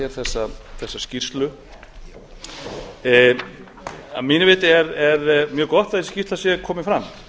erum að ræða hér þessa skýrslu að mínu viti er mjög gott að þessi skýrsla sé komin fram